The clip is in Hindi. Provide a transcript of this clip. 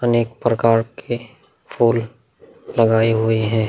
अनेक प्रकार के फूल लगाए हुए हैं।